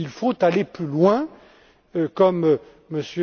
Il faut aller plus loin, comme